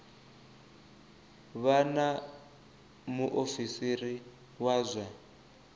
vha na muofisiri wa zwa